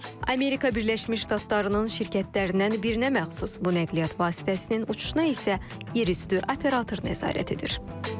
Amerika Birləşmiş Ştatlarının şirkətlərindən birinə məxsus bu nəqliyyat vasitəsinin uçuşuna isə yerüstü operator nəzarət edir.